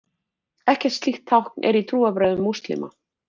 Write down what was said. Ekkert slíkt tákn er í trúarbrögðum múslíma.